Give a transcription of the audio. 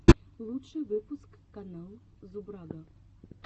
лучший выпуск канал зубрага